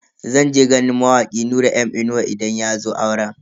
Zan je ganin mawaki Nura M Inuwa idan yazo auren.